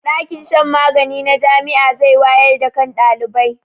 ɗakin shan magani na Jami'a zai wayar da kan ɗalibai